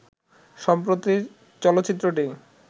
সম্প্রতি চলচ্চিত্রটি